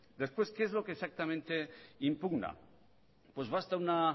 después qué es lo que exactamente impugna pues basta una